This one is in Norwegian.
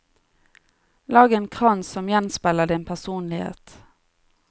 Lag en krans som gjenspeiler din personlighet.